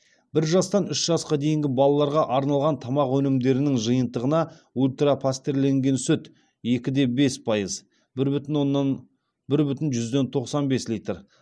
бір жастан үш жасқа дейінгі балаларға арналған тамақ өнімдерінің жиынтығына ультра пастерленген сүт екі де бес пайыз бір бүтін жүзден тоқсан бес литр